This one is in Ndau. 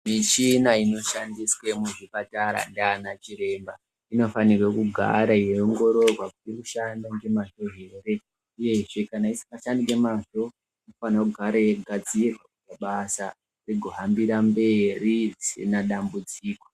Mishina inoshandiswe muzvipatara ndianachiremba, inofanirwe kugara yeiongirorwa kuti iri kushanda ngemazvo ere, uyezve kana isingashandi ngemazvo, vanogare yeigadzirwa kuti basa rigohambire mberi risina dambudziko.